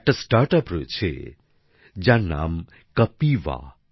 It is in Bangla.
একটা স্টার্ট আপ রয়েছে যার নাম কপিভা